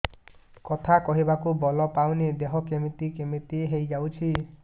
କଥା କହିବାକୁ ବଳ ପାଉନି ଦେହ କେମିତି କେମିତି ହେଇଯାଉଛି